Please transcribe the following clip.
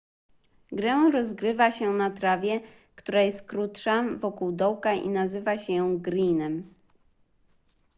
grę rozgrywa się na trawie która jest krótsza wokół dołka i nazywa się ją greenem